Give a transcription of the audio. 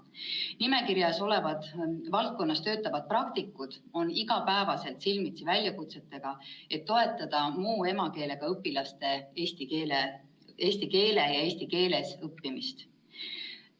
Nimekirjas olevas valdkonnas töötavad praktikud on igapäevaselt silmitsi väljakutsetega, et toetada muu emakeelega õpilaste eesti keele ja eesti keeles õppimist.